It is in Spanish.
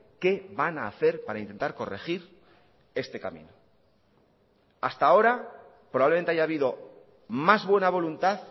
qué van a hacer para intentar corregir este camino hasta ahora probablemente haya habido más buena voluntad